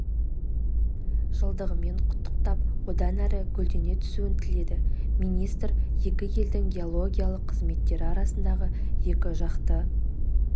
жылдығымен құттықтап одан әрі гүлдене түсуін тіледі министр екі елдің геологиялық қызметтері арасындағы екі жақты